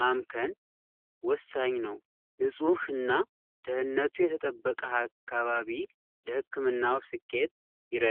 ማምከን ወሳኝ ነው። ንፁህ እና ድህንነቱ የተጠበቀ አከባቢ ለህክምናው ስኬት ይረዳል።